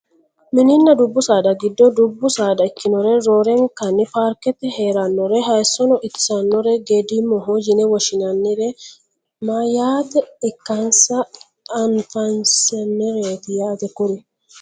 Mininna dubbu saada giddo dubbu saada ikkinore roorenka paarkete heerannore hayeesso itsnnore geedimoho yine woshshinannire mayeeta ikkansa anfsnnireeti yaate kuri